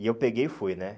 E eu peguei e fui, né?